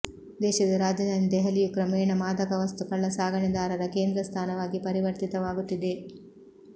ದೇಶದ ರಾಜಧಾನಿ ದೆಹಲಿಯು ಕ್ರಮೇಣ ಮಾದಕವಸ್ತು ಕಳ್ಳಸಾಗಣೆದಾರರ ಕೇಂದ್ರ ಸ್ಥಾನವಾಗಿ ಪರಿವರ್ತಿತವಾಗುತ್ತಿದೆ